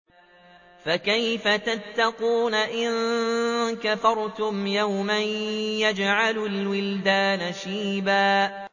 فَكَيْفَ تَتَّقُونَ إِن كَفَرْتُمْ يَوْمًا يَجْعَلُ الْوِلْدَانَ شِيبًا